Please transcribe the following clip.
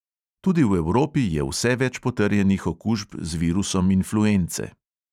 Tudi v evropi je vse več potrjenih okužb z virusom influence.